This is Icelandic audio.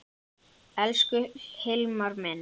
Elsku Hilmar minn.